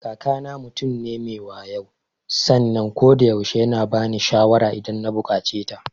Kakana mutum ne me wayo sannan kodayaushe yana bani shawara idan na buƙaceta.